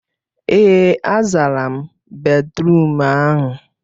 Ee, a zara m bédrụum ahụ.